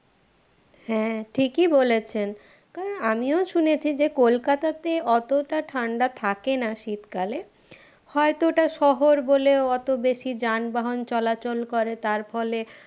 হ্যাঁ ঠিকই বলেছেন কারণ আমিও শুনেছি যে কোলকাতাতে অতটা ঠান্ডা থাকে না শীতকালে হয়তো ওটা শহর বলে অত বেশি যানবাহন চলাচল করে তার ফলে